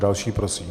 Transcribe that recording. Další prosím.